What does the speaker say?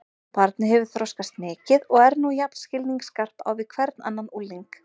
Barnið hefur þroskast mikið og er nú jafn skilningsskarpt á við hvern annan ungling.